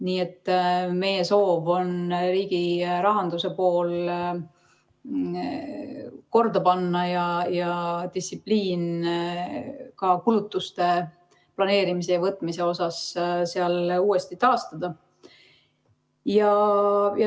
Nii et meie soov on riigi rahanduse pool korda panna ja distsipliin ka kulutuste planeerimisel ja tegemisel seal uuesti taastada.